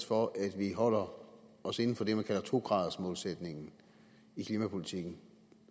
for at vi holder os inden for det man kalder to gradersmålsætningen i klimapolitikken